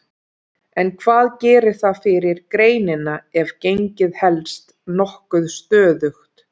En hvað gerir það fyrir greinina ef gengið helst nokkuð stöðugt?